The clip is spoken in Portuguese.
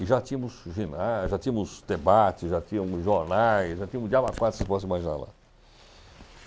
E já tínhamos ginásio, já tínhamos debates, já tínhamos jornais, já tínhamos diabo a quatro se possa imaginar lá.